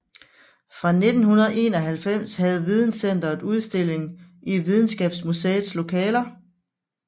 Fra 1991 havde Videncenteret udstilling i Videnskabsmuseets lokaler